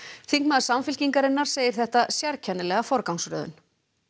þingmaður Samfylkingarinnar segir þetta sérkennilega forgangsröðun